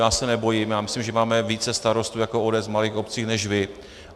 Já se nebojím, já myslím, že máme více starostů jako ODS v malých obcích než vy.